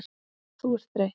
Þú ert þreytt.